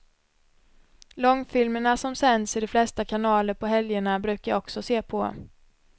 Långfilmerna som sänds i de flesta kanaler på helgerna brukar jag också se på.